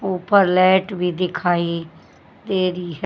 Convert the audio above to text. ऊपर लेट भी दिखाइ दे री है।